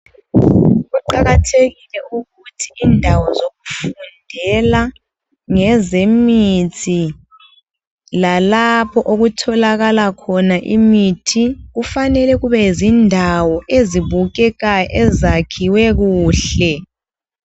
Kuqakathekile ukuthi indawo zokufundela ngezemithi lalapho okutholakala khona imithi, kufanele kubezindawo ezibukekayo ezakhiwe kuhle.